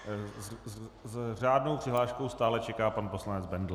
S řádnou přihláškou stále čeká pan poslanec Bendl.